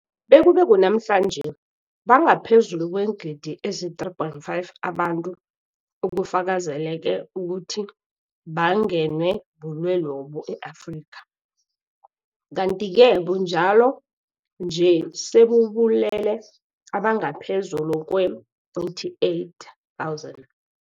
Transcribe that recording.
Bekube kunamhlanje, banga phezulu kweengidi ezi-3.5 abantu ekufakazeleke ukuthi bangenwe bulwelobu e-Afrika, kanti-ke bunjalo nje sebubulele abangaphezulu kwee-88 000.